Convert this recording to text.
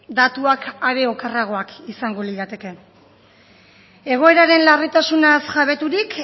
datuak are okerragoak izango lirateke egoeraren larritasunaz jabeturik